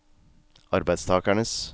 arbeidstakernes